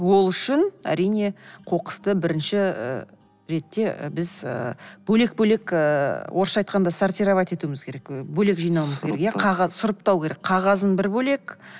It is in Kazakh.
ол үшін әрине қоқысты бірінші ретте біз ы бөлек бөлек ыыы орысша айтқанда сортировать етуіміз керек і бөлек жинауымыз керек иә сұрыптау керек қағазын бір бөлек